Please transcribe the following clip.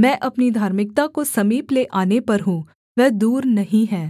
मैं अपनी धार्मिकता को समीप ले आने पर हूँ वह दूर नहीं है